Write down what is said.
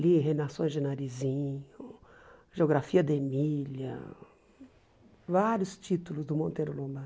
Li Reinações de Narizinho, Geografia de Emília, vários títulos do Monteiro Lobato.